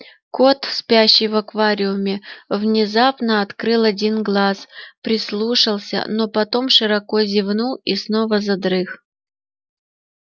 кот спящий в аквариуме внезапно открыл один глаз прислушался но потом широко зевнул и снова задрых